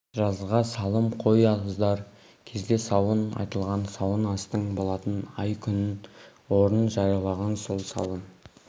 жазға салым қой қоздар кезде сауын айтылған сауын астың болатын ай күнін орнын жариялаған сол сауын